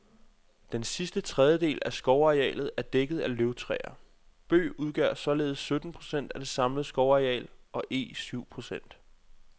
Den sidste tredjedel af skovarealet er dækket af løvtræer. Bøg udgør således sytten procent af det samlede skovareal og eg syv procent.